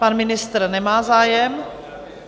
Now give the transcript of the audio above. Pan ministr nemá zájem?